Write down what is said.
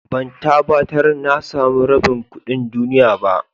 Ban tabatar na san rabin kudin duniyya ba.